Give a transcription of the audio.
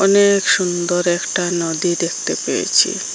অনেক সুন্দর একটা নদী দেখতে পেয়েছি।